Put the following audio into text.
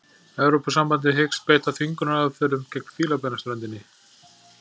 Evrópusambandið hyggst beita þvingunaraðferðum gegn Fílabeinsströndinni